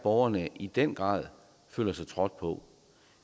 borgerne i den grad føler sig trådt på